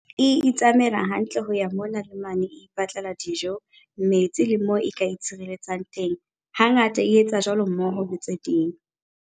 E itsamaela hantle ho ya mona le mane e ipatlela dijo, metsi le moo e ka itshireletsang teng hangata e etsa jwalo mmoho le tse ding.